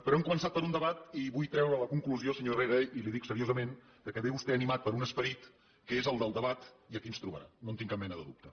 però hem començat per un debat i vull treure la conclusió senyor herrera i li ho dic seriosament que ve vostè animat per un esperit que és el del debat i aquí ens trobarà no en tinc cap mena de dubte